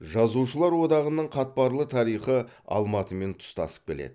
жазушылар одағының қатпарлы тарихы алматымен тұстасып келеді